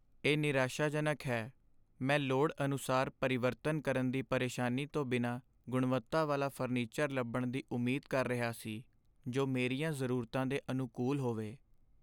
ਇਹ ਨਿਰਾਸ਼ਾਜਨਕ ਹੈ, ਮੈਂ ਲੋੜ ਅਨੁਸਾਰ ਪਰਿਵਰਤਨ ਕਰਨ ਦੀ ਪਰੇਸ਼ਾਨੀ ਤੋਂ ਬਿਨਾਂ ਗੁਣਵੱਤਾ ਵਾਲਾ ਫਰਨੀਚਰ ਲੱਭਣ ਦੀ ਉਮੀਦ ਕਰ ਰਿਹਾ ਸੀ ਜੋ ਮੇਰੀਆਂ ਜ਼ਰੂਰਤਾਂ ਦੇ ਅਨੁਕੂਲ ਹੋਵੇ।